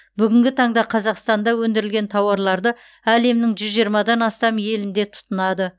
бүгінгі таңда қазақстанда өндірілген тауарларды әлемнің жүз жиырмадан астам елінде тұтынады